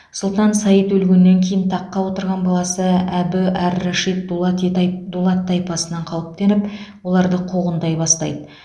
сұлтан саид өлгеннен кейін таққа отырған баласы әбі ар рашид дулати тайп дулат тайпасынан қауіптеніп оларды қуғындай бастайды